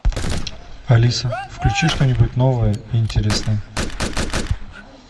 алиса включи что нибудь новое и интересное